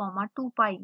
comma 2pi